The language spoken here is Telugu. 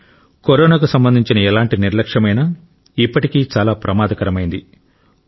కానీ కరోనాకు సంబంధించిన ఎలాంటి నిర్లక్ష్యమైనా ఇప్పటికీ చాలా ప్రమాదకరమైంది